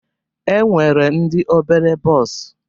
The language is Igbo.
E nwere ndị obere bọs.